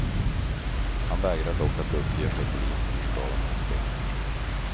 Han vägrar dock att uppge för polisen hur skadan uppstått.